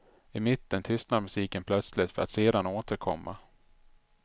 I mitten tystnar musiken plötsligt för att sedan återkomma.